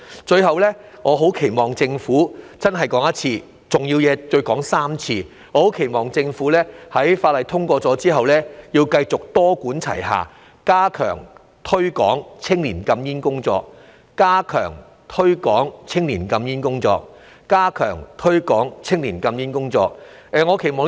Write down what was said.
最後，我很期望政府，真的要再說一次，我期望政府在《條例草案》通過後繼續多管齊下，加強推廣青年禁煙工作，加強推廣青年禁煙工作，加強推廣青年禁煙工作——重要的事情要說3次。